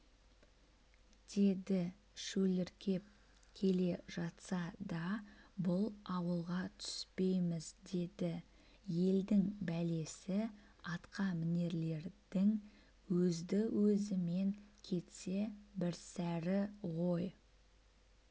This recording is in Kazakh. деді шөліркеп келе жатса да бұл ауылға түспейміз деді елдің бәлесі атқамінерлердің өзді-өзімен кетсе бірсәрі ғой